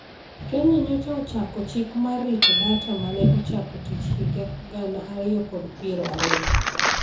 Kenya nyocha ochako chik mar rito data mane ochako tich higa gana ariyo kod piero ariyo.